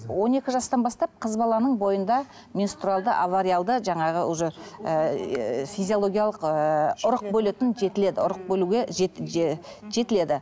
он екі жастан бастап қыз баланың бойынды менструалды авариялды жаңағы уже ііі физиологиялық ііі ұрық бөлетін жетіледі ұрық бөлуге жетіледі